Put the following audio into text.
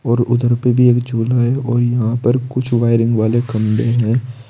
और उधर पे भी एक झूला है और यहां पर कुछ वायरिंग वाले खंभे हैं।